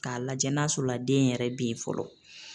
K'a lajɛ n'a sɔrɔ la den yɛrɛ be yen fɔlɔ.